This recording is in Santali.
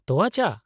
ᱛᱳᱣᱟ ᱪᱟ ᱾